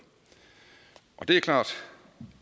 det er klart